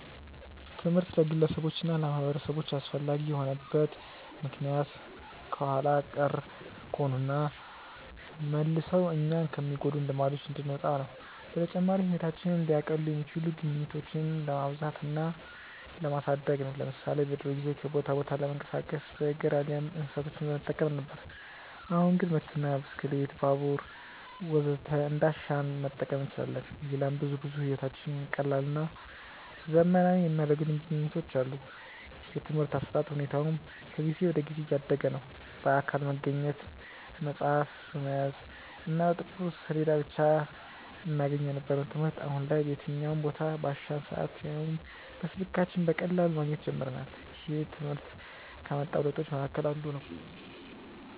ትምህርት ለግለሰቦች እና ለማህበረሰቦች አስፈላጊ የሆነበት ምክንያት ኋላ ቀር ከሆኑና መልሰው እኛኑ ከሚጎዱን ልማዶች እንድንወጣ ነው። በተጨማሪም ህይወታችንን ሊያቀሉ የሚችሉ ግኝቶችን ለማብዛት እና ለማሳደግ ነው። ለምሳሌ በድሮ ጊዜ ከቦታ ቦታ ለመንቀሳቀስ በእግር አሊያም እንስሳቶችን በመጠቀም ነበር። አሁን ግን መኪና፣ ብስክሌት፣ ባቡር ወዘተ እንዳሻን መጠቀም እንችላለን። ሌላም ብዙ ብዙ ህይወታችንን ቀላልና ዘመናዊ ያደረጉልን ግኝቶች አሉ። የትምርህት አሰጣጥ ሁኔታውም ከጊዜ ወደ ጊዜ እያደገ ነዉ። በአካል በመገኘት፣ መፅሀፍ በመያዝ እና በጥቁር ሰሌዳ ብቻ እናገኘው የነበረውን ትምህርት አሁን ላይ በየትኛውም ቦታ፣ ባሻን ሰአት ያውም በስልካችን በቀላሉ ማግኘት ጀምረናል። ይህም ትምህርት ካመጣው ለውጦች መሀከል አንዱ ነው።